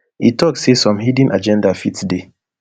e tok say some hidden agenda fit dey